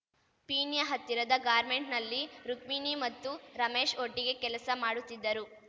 ಪೀಣ್ಯ ಹತ್ತಿರದ ಗಾರ್ಮೆಂಟ್ನಲ್ಲಿ ರುಕ್ಮಿಣಿ ಮತ್ತು ರಮೇಶ್‌ ಒಟ್ಟಿಗೆ ಕೆಲಸ ಮಾಡುತ್ತಿದ್ದರು